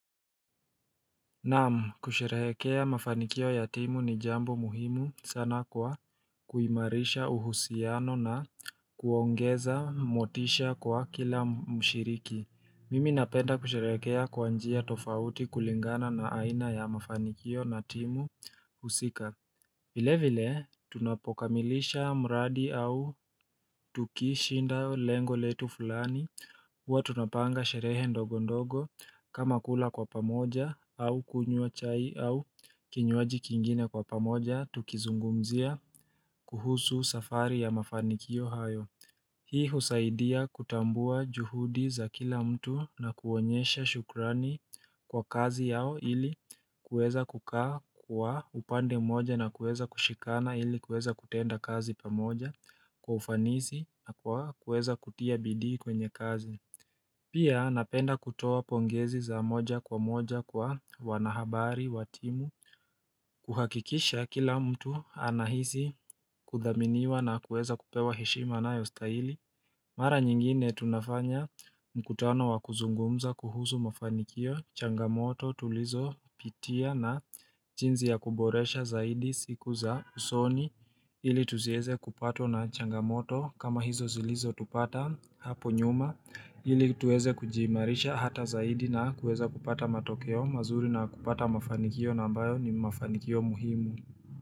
Naamu kusherehekea mafanikio ya timu ni jambo muhimu sana kwa kuimarisha uhusiano na kuongeza motisha kwa kila mshiriki Mimi napenda kusherehekea kwa njia tofauti kulingana na aina ya mafanikio na timu husika vile vile tunapokamilisha mradi au tukishinda lengo letu fulani huwa tunapanga sherehe ndogo ndogo kama kula kwa pamoja au kunywa chai au kinywaji kingine kwa pamoja tukizungumzia kuhusu safari ya mafanikio hayo Hii husaidia kutambua juhudi za kila mtu na kuonyesha shukrani kwa kazi yao ili kuweza kukaa kwa upande mmoja na kuweza kushikana ili kuweza kutenda kazi pamoja kufanisi na kueza kutia bidii kwenye kazi Pia napenda kutoa pongezi za moja kwa moja kwa wanahabari, wa timu kuhakikisha kila mtu anahisi kuthaminiwa na kueza kupewa heshima anayostahili Mara nyingine tunafanya mkutano wakuzungumza kuhusu mafanikio changamoto tulizopitia na jinzi ya kuboresha zaidi siku za usoni ili tuzieze kupatwa na changamoto kama hizo zilizo tupata hapo nyuma ili tuweze kujiimarisha hata zaidi na kuweza kupata matokeo mazuri na kupata mafanikio na ambayo ni mafanikio muhimu.